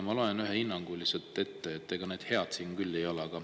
Ma loen ühe hinnangu lihtsalt ette, ega need head siin küll ei ole.